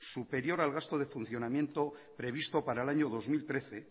superior al gasto de funcionamiento previsto para el año dos mil trece